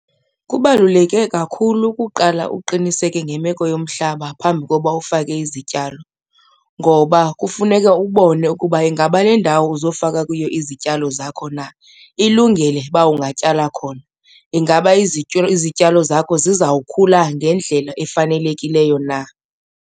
Kubaluleke kakhulu ukuqala uqiniseke ngemeko yomhlaba phambi koba ufake izityalo ngoba kufuneka ubone ukuba ingaba lendawo uzofaka kuyo izityalo zakho na ilungele uba ungatyala khona. Ingaba izityalo zakho zizawukhula ngendlela efanelekileyo na.